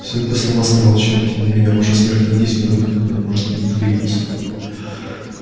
всё это слова сказал чен и тем не менее ваша смерть не единственный выход который может удовлетворить нас